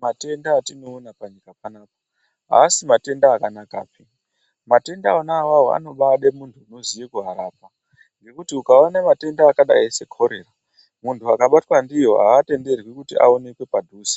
Matenda atinoona panyika panapa aasi matenda akanakapi. Matenda ona awao anobaada muntu anoziye kuarapa ngekuti ukaona matenda akadayi sekhorera muntu akabatwa ndiyo aatenderwi kuti aonekwe padhuze.